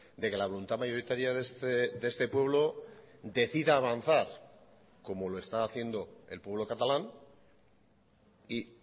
de que la voluntad mayoritaria de este pueblo decida avanzar como lo está haciendo el pueblo catalán y